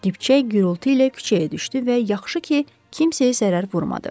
Dibçək gurultu ilə küçəyə düşdü və yaxşı ki, kimsəyə zərər vurmadı.